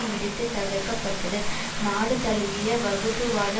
இடித்து தகர்க்கப்பட்டது நாடு தழுவிய வகுப்புவாத